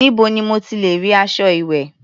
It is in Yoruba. Níbo ni mo ti lẹ̀ rí aṣọ ìwẹ̀?